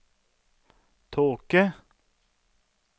tåke